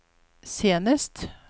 senest